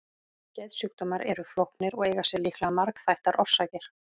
Geðsjúkdómar eru flóknir og eiga sér líklega margþættar orsakir.